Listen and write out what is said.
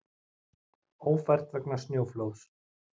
Ófært vegna snjóflóðs